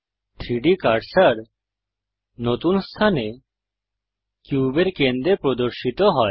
3ডি কার্সার নতুন স্থানে কিউবের কেন্দ্রে প্রদর্শিত হয়